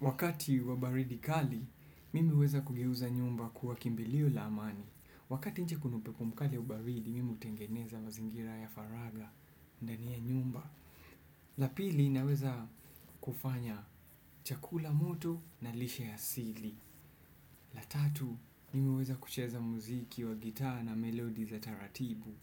Wakati wa baridi kali, mimi huweza kugeuza nyumba kuwa kimbilio la amani. Wakati nje kuna upepo mkali wa baridi, mimi hutengeneza mazingira ya faragha ndani ya nyumba. La pili, naweza kufanya chakula moto na lishe ya asili. La tatu, mimi huweza kucheza muziki wa gitaa na melodi za taratibu.